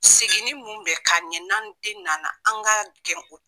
Seginni mun bɛ kaɲɛ n'an den nana an ka gɛn